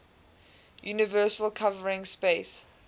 universal covering space